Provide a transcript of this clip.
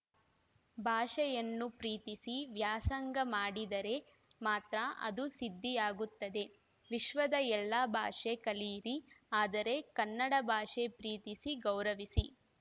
ಭಾಷೆಯನ್ನು ಪ್ರೀತಿಸಿ ವ್ಯಾಸಂಗ ಮಾಡಿದರೆ ಮಾತ್ರ ಅದು ಸಿದ್ಧಿಯಾಗುತ್ತದೆ ವಿಶ್ವದ ಎಲ್ಲಾ ಭಾಷೆ ಕಲಿಯಿರಿ ಆದರೆ ಕನ್ನಡ ಭಾಷೆ ಪ್ರೀತಿಸಿ ಗೌರವಿಸಿ